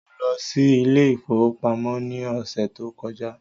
Mo lọ sí ilé ìfowópamọ́ ní ọ̀sẹ̀ tó kọjá́.